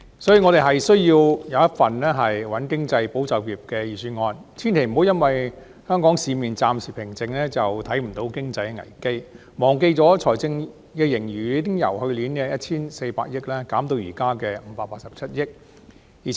所以，我們需要一份"穩經濟、保就業"的預算案，千萬不要因為香港市面暫且平靜，便忽視經濟的危機、忘記財政盈餘已由去年的 1,400 億元減至現時的587億元。